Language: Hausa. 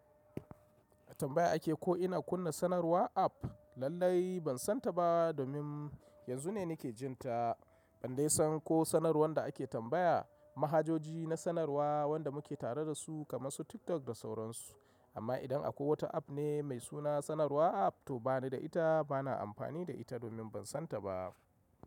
Tambaya ake ko ina kunna sanarwa app? Lallai bansan taba domin yanzu ne nake jinta, ban dai san ko sanarwan da ake tambaya, mahajoji na sanarwa wanda muke tare dasu kamar su TikTok da sauransu. Amma idan akwai wata app ne mai suna sanarwa app to banida ita, bana amfani da ita domin ban san ta ba.